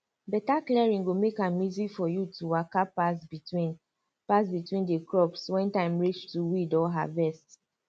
better clearing go make am easy for you to waka pass between pass between the crops when time reach to weed or harvest